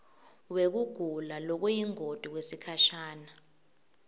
wekugula lokuyingoti kwesikhashana